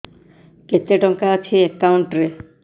କେତେ ଟଙ୍କା ଅଛି ଏକାଉଣ୍ଟ୍ ରେ